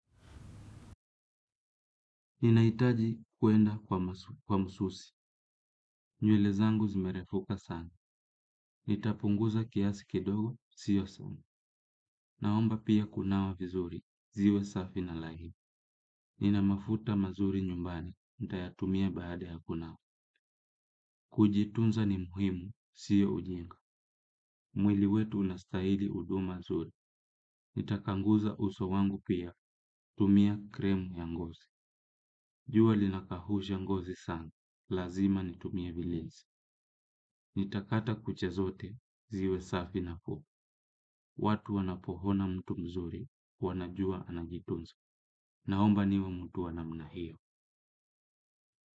Ninahitaji kuenda kwa msusi. Nywele zangu zimerefuka sana. Nitapunguza kiasi kidogo, siyo sana. Naomba pia kunawa vizuri, ziwe safi na laini. Nina mafuta mazuri nyumbani, nitayatumia baada ya kunawa. Kujitunza ni muhimu, siyo ujinga. Mwili wetu unastahili huduma zuri. Nitakanguza uso wangu pia, tumia kremu ya ngozi. Jua linakausha ngozi sana, lazima nitumie vilinzi. Nitakata kucha zote, ziwe safi na fupi. Watu wanapoona mtu mzuri, wanajua anajitunza. Naomba niwe mtu wa namna hiyo.